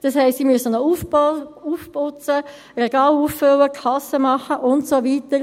Das heisst, sie müssen noch putzen, Regale auffüllen, Kasse machen und so weiter.